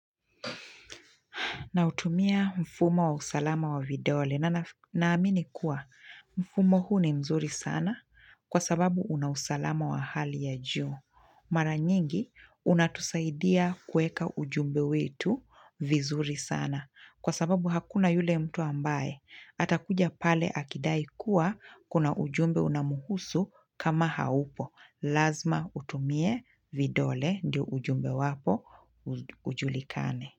Nautumia mfumo wa usalama wa vidole na naamini kuwa mfumo huu ni mzuri sana kwa sababu una usalama wa hali ya juu. Mara nyingi unatusaidia kueka ujumbe wetu vizuri sana kwa sababu hakuna yule mtu ambaye. Atakuja pale akidai kuwa kuna ujumbe unamuhusu kama haupo. Lazma utumie vidole ndio ujumbe wako ujulikane.